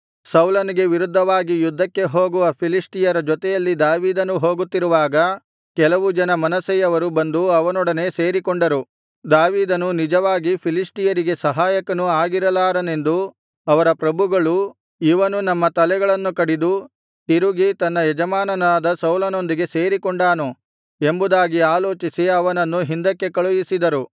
ಸೌಲನಿಗೆ ವಿರುದ್ಧವಾಗಿ ಯುದ್ಧಕ್ಕೆ ಹೋಗುವ ಫಿಲಿಷ್ಟಿಯರ ಜೊತೆಯಲ್ಲಿ ದಾವೀದನೂ ಹೋಗುತ್ತಿರುವಾಗ ಕೆಲವು ಜನ ಮನಸ್ಸೆಯವರು ಬಂದು ಅವನೊಡನೆ ಸೇರಿಕೊಂಡರು ದಾವೀದನು ನಿಜವಾಗಿ ಫಿಲಿಷ್ಟಿಯರಿಗೆ ಸಹಾಯಕನು ಆಗಿರಲಾರನೆಂದು ಅವರ ಪ್ರಭುಗಳು ಇವನು ನಮ್ಮ ತಲೆಗಳನ್ನು ಕಡಿದು ತಿರುಗಿ ತನ್ನ ಯಜಮಾನನಾದ ಸೌಲನೊಂದಿಗೆ ಸೇರಿಕೊಂಡಾನು ಎಂಬುದಾಗಿ ಆಲೋಚಿಸಿ ಅವನನ್ನು ಹಿಂದಕ್ಕೆ ಕಳುಹಿಸಿದರು